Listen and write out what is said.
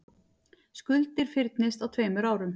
Skuldir fyrnist á tveimur árum